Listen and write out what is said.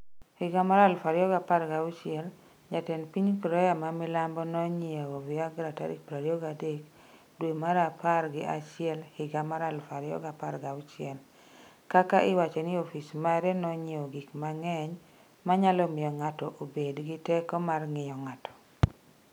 2016 Jatend piny Korea ma milambo nonyiewo Viagra tarik 23 dwe mar apar gi achiel higa mar 2016. kaka iwacho ni ofis mare nonyiewo gik mang’eny ma nyalo miyo ng’ato obed gi teko mar ng’iyo ng’ato